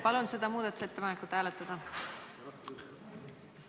Palun seda muudatusettepanekut hääletada!